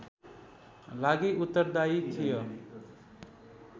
लागि उत्तरदायी थियो